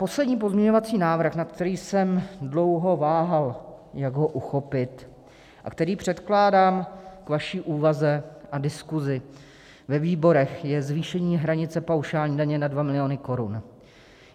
Poslední pozměňovací návrh, nad kterým jsem dlouho váhal, jak ho uchopit, a který předkládám k vaší úvaze a diskusi ve výborech, je zvýšení hranice paušální daně na 2 miliony korun.